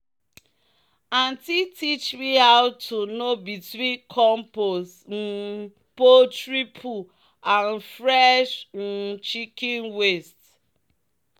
"aunty teach me how to know between compost um poultry poo and fresh um chicken waste."